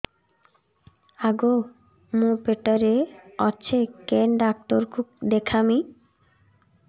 ଆଗୋ ମୁଁ ପେଟରେ ଅଛେ କେନ୍ ଡାକ୍ତର କୁ ଦେଖାମି